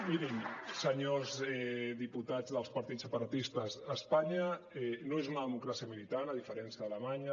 mirin senyors diputats dels partits separatistes espanya no és una democràcia militant a diferència d’alemanya